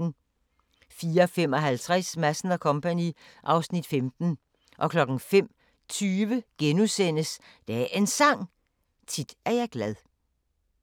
04:55: Madsen & Co. (Afs. 15) 05:20: Dagens Sang: Tit er jeg glad *